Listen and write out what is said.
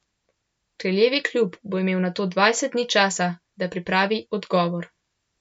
Kraljevi klub bo imel nato dvajset dni časa, da pripravi odgovor.